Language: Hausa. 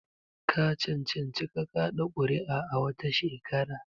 Ka cancanci ka kaɗa kuri'a wata shekara?